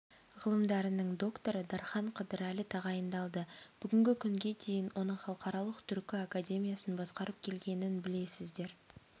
ғылымдарының докторы дархан қыдырәлі тағайындалды бүгінгі күнге дейін оның халықаралық түркі академиясын басқарып келгенін білесіздер